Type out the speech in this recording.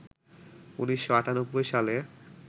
১৯৯৮ সালে